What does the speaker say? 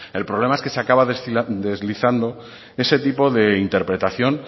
el problema es que se acaba deslizando ese tipo de interpretación